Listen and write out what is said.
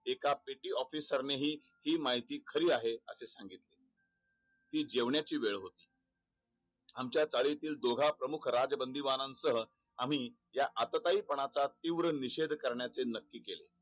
एका petty officer नेही ही माहिती खरी आहे असे सांगितले जेवण्या ची वेळ होती आमच्या चाळी तील दोघा प्रमुख राज बंदी बा नंतर आम्ही या आता काही पण आता तीव्र निषेध करण्याचे नक्की केले